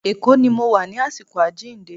Èkó ni mo wà ní àsìkò àjíǹde.